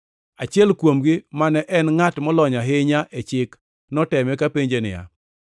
Achiel kuomgi, mane en ngʼat molony ahinya e chik noteme kapenje niya,